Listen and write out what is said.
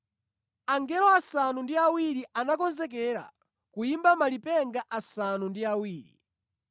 Angelo asanu ndi awiri anakonzekera kuyimba malipenga asanu ndi awiri.